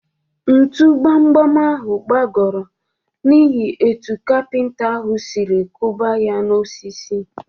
Ntụ gbam gbam ahụ gbagọrọ niihi etu kapinta ahụ sịrị kụba ya na-osisi.